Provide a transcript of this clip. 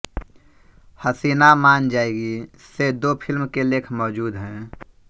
हसीना मान जायेगी से दो फ़िल्म के लेख मौजूद हैं